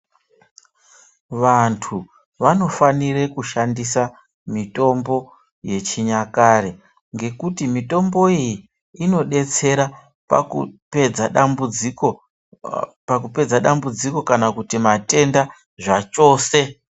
Vantu vanofanira kushandisa mitombo yechinyakare, ngekuti mitombo iyi inodetsera pakupedza dambudziko kana kuti matenda zvachose.